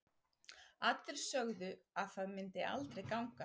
Allir sögðu að það myndi aldrei ganga.